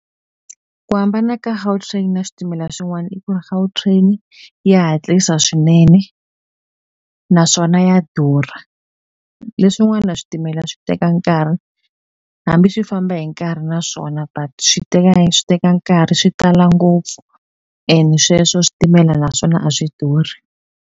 Ku hambana ka Gautrain na switimela swin'wani i ku ri Gautrain ya hatlisa swinene naswona ya durha leswin'wana switimela swi teka nkarhi hambi swi famba hi nkarhi naswona but swi swi teka nkarhi swi tala ngopfu ene sweswo switimela naswona a swi durhi.